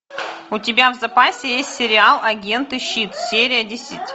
у тебя в запасе есть сериал агенты щит серия десять